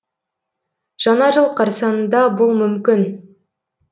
жаңа жыл қарсаңында бұл мүмкін